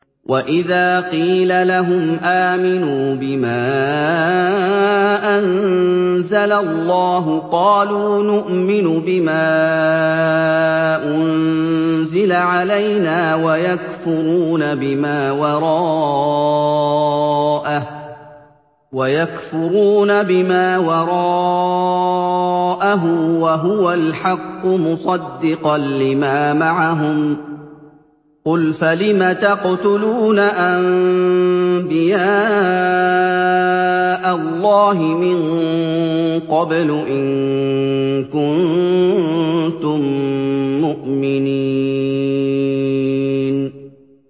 وَإِذَا قِيلَ لَهُمْ آمِنُوا بِمَا أَنزَلَ اللَّهُ قَالُوا نُؤْمِنُ بِمَا أُنزِلَ عَلَيْنَا وَيَكْفُرُونَ بِمَا وَرَاءَهُ وَهُوَ الْحَقُّ مُصَدِّقًا لِّمَا مَعَهُمْ ۗ قُلْ فَلِمَ تَقْتُلُونَ أَنبِيَاءَ اللَّهِ مِن قَبْلُ إِن كُنتُم مُّؤْمِنِينَ